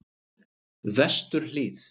Vesturhlíð